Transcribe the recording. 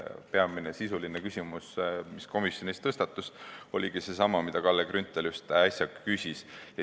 Peamine sisuline küsimus, mis komisjonis tõstatus, oligi seesama, mille kohta Kalle Grünthal just äsja küsis.